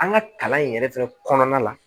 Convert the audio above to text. An ka kalan in yɛrɛ fɛnɛ kɔnɔna la